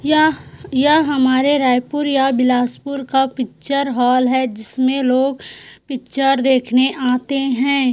यह हमारे रायपुर या बिलासपुर का पिक्चर हॉल है जिसमें लोग पिक्चर देखने आते हैं।